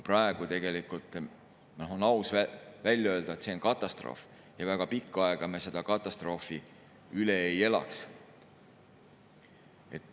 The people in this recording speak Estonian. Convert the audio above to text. Praegu on aus välja öelda, et see on katastroof, ja väga pikka aega me seda katastroofi üle ei elaks.